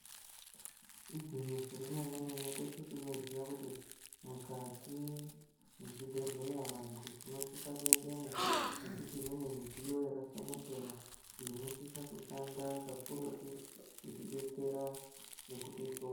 Igwinyiso remene mene teshe tinoziva kuti Mukati mezvibhedhlera vantu tine imwe midziyo inosisa kushanda kakurutu kuti detsera nekutihloya.